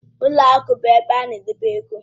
Ụlọ akụ bụ ebe a na-edebe ego